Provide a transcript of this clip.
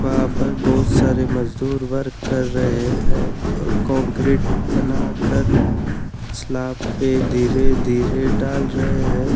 वहा पर बहुत सारे मजदूर वर्क कर रहे है और कोंकरिट बना कर सलाब पे धीरे धीरे डाल रहे है।